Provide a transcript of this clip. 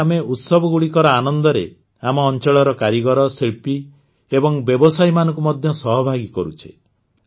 ଏବେ ଆମେ ଉତ୍ସବଗୁଡ଼ିକର ଆନନ୍ଦରେ ଆମ ଅଂଚଳର କାରିଗର ଶିଳ୍ପୀ ଏବଂ ବ୍ୟବସାୟୀମାନଙ୍କୁ ମଧ୍ୟ ସହଭାଗୀ କରୁଛେ